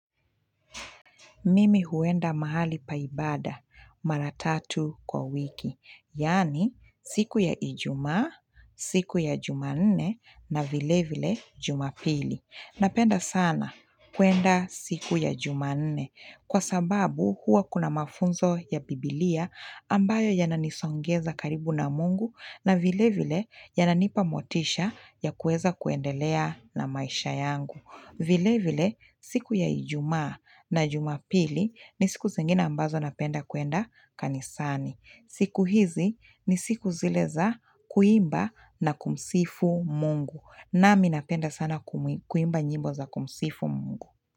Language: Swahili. Mimi huenda mahali paibada maratatu kwa wiki. Yani siku ya ijumaa, siku ya jumanne na vile vile jumapili. Napenda sana kuenda siku ya jumanne kwa sababu hua kuna mafunzo ya bibilia ambayo yananisongeza karibu na mungu na vile vile yananipa motisha ya kueza kuendelea na maisha yangu. Vile vile siku ya ijumaa na jumapili ni siku zingine ambazo napenda kuenda kanisani. Siku hizi ni siku zile za kuimba na kumsifu mungu. Nami napenda sana kuimba nyimbo za kumsifu mungu.